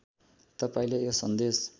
तपाईँले यो सन्देश